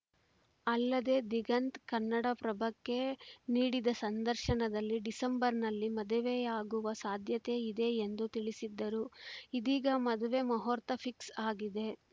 ಅಲ್ಲದೇ ದಿಗಂತ್‌ ಕನ್ನಡಪ್ರಭಕ್ಕೆ ನೀಡಿದ ಸಂದರ್ಶನದಲ್ಲಿ ಡಿಸೆಂಬರ್‌ನಲ್ಲಿ ಮದುವೆಯಾಗುವ ಸಾಧ್ಯತೆ ಇದೆ ಎಂದು ತಿಳಿಸಿದ್ದರು ಇದೀಗ ಮದುವೆ ಮುಹೂರ್ತ ಫಿಕ್ಸ್‌ ಆಗಿದೆ